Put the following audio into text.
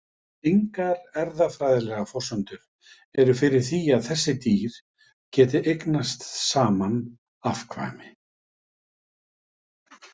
Engar erfðafræðilegar forsendur eru fyrir því að þessi dýr geti eignast saman afkvæmi.